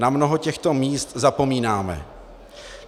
Na mnoho těchto míst zapomínáme.